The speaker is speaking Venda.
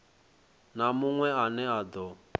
na munwe ane a do